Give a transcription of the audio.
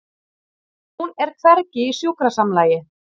Hún er hvergi í sjúkrasamlagi.